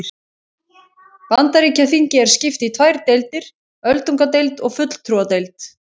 Bandaríkjaþingi er skipt í tvær deildir, öldungadeild og fulltrúadeild.